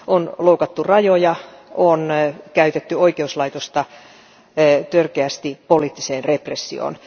On loukattu rajoja, on käytetty oikeuslaitosta törkeästi poliittiseen repressioon.